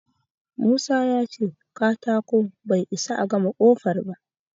Musa ya ce katako bai isa a gama ƙofar ba.